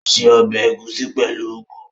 Ó ṣe ọbẹ̀ ẹ̀gúsí pẹ̀lú úgú